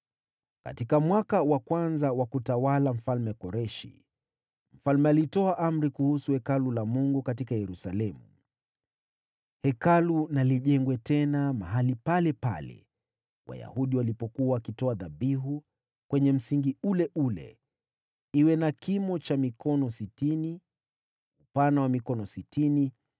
Katika mwaka wa kwanza wa kutawala Mfalme Koreshi, mfalme alitoa amri kuhusu Hekalu la Mungu katika Yerusalemu: Hekalu na lijengwe tena mahali palepale Wayahudi walipokuwa wakitoa dhabihu, kwenye msingi ule ule. Iwe na kimo cha mikono sitini, upana wa mikono sitini,